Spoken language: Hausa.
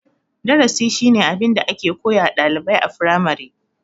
Darasi shine abin da ake koyawa ɗalibai a firamare.